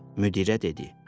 Müdirə dedi.